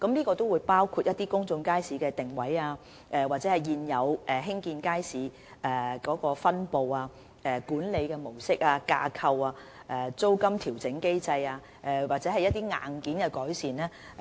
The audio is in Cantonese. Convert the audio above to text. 檢視範圍包括公眾街市的定位、現有街市的分布、管理模式、架構、租金調整機制，以及一些硬件改善。